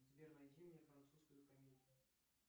сбер найди мне французскую комедию